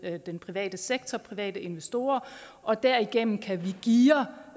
den private sektor private investorer og derigennem kan vi geare